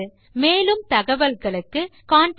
மேலும் தகவல்களுக்கு எம்மை தொடர்பு கொள்ளவும்